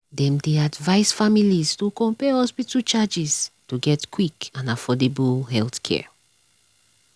dem dey advise families to compare hospital charges to get quick and affordable healthcare.